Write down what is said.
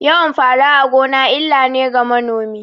Yawan fara a gona illa ne ga manomi